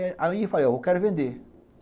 Aí, eu falei, eu quero vender.